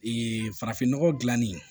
Ee farafinnɔgɔ gilanni